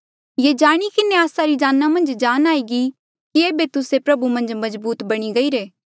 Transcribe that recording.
ये जाणी किन्हें आस्सा री जाना मन्झ जान आई गई कि एेबे तुस्से प्रभु मन्झ मजबूत बणी गईरे